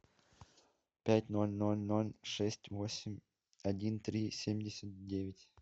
пять ноль ноль ноль шесть восемь один три семьдесят девять